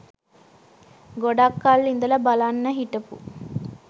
ගොඩක් කල් ඉදල බලන්න හිටපු